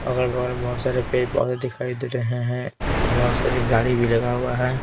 अगल बगल बहुत सारे पेड़ पौधे दिखाई दे रहे हैं बहुत सारी गाड़ी भी लगा हुआ है.